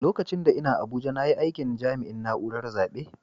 Lokacin da n'na Abuja na yi aikin jami'in naúrar zabe.